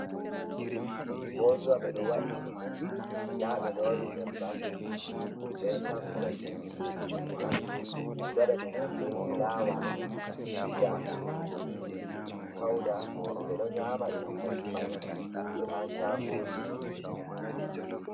Bozuwa, ɓe ɗo wa’ini ɗum, nda ɓe loowi nyebbam, ɓe ɗo tamsira cimcin, be mit- pay, ɓe ɗo waɗa ɗum on, be fulaawa, cuga, iis, fawda ɓe ɗo nyaama ɗum makimay be haa caagooji.